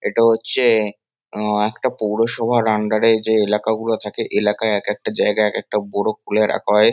এটা হচ্ছে-এ আ একটা পৌরসভার আন্ডার -এ যে এলাকাগুলো থাকে এলাকায় একেকটা জায়গায় একেকটা বোরো খুলে রাখা হয়।